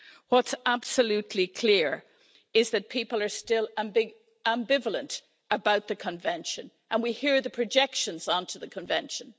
What's absolutely clear is that people are still ambivalent about the Convention, and we hear the projections onto the Convention.